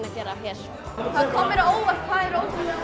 að gera hér það kom mér á óvart hvað eru ótrúlega